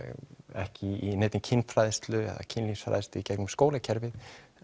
ekki í neinni kynfræðslu kynfræðslu í gegnum skólakerfið